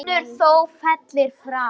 Vinur þó féllir frá.